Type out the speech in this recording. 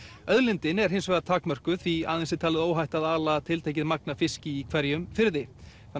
auðlindin er hins vegar takmörkuð því aðeins er talið óhætt að ala tiltekið magn af fiski í hverjum firði